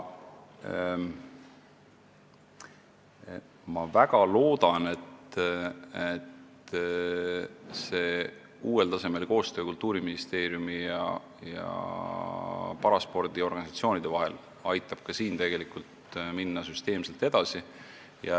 Ma väga loodan, et uuel tasemel koostöö Kultuuriministeeriumi ja paraspordiorganisatsioonide vahel aitab siin ka süsteemselt edasi minna.